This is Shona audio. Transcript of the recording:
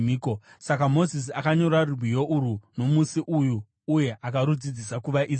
Saka Mozisi akanyora rwiyo urwu nomusi uyu uye akarudzidzisa kuvaIsraeri.